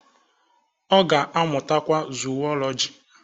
Ọ ga-amụtakwa Zuwọlọji